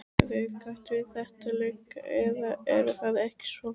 Þið kallið þetta leka, eða er það ekki svo.